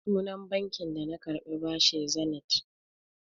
Sunan banki da na karɓi bashi Zenith.